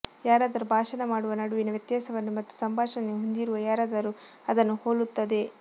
ಯಾರಾದರೂ ಭಾಷಣ ಮಾಡುವ ನಡುವಿನ ವ್ಯತ್ಯಾಸವನ್ನು ಮತ್ತು ಸಂಭಾಷಣೆಯನ್ನು ಹೊಂದಿರುವ ಯಾರಾದರೂ ಅದನ್ನು ಹೋಲುತ್ತದೆ